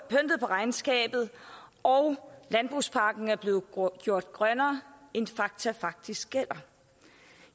regnskabet og landbrugspakken er blevet gjort grønnere end fakta faktisk er